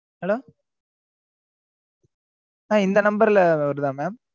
hello ah இந்த number ல வருதா mam